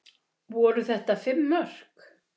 Voru þetta fimm mörk?